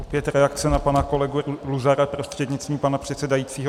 Opět reakce na pana kolegu Luzara, prostřednictvím pana předsedajícího.